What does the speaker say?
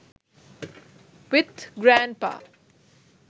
with grandpa